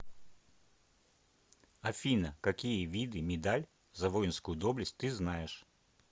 афина какие виды медаль за воинскую доблесть ты знаешь